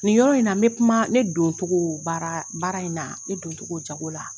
Nin yɔrɔ in na, n be kuma ne don cogo baara in na, ne doncogo jago la.